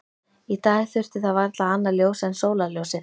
Í dag þurfti það varla annað ljós en sólarljósið.